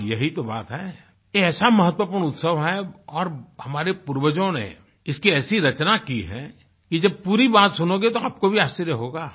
हाँ यही तो बात है ये ऐसा महत्वपूर्ण उत्सव है और हमारे पूर्वजों ने इसकी ऐसी रचना की है कि जब पूरी बात सुनोगे तो आपको भी आश्चर्य होगा